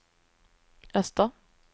öster